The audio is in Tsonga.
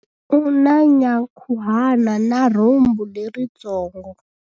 U na nyankhuhana na rhumbu leritsongo.